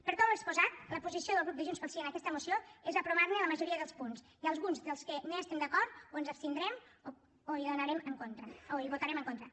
per tot l’exposat la posició del grup de junts pel sí en aquesta moció és aprovar ne la majoria dels punts i en alguns dels que no hi estem d’acord o ens abstindrem o hi votarem en contra